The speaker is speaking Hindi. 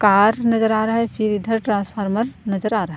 कार नजर आ रहा है फिर इधर ट्रांसफार्मर नजर आ रहा है।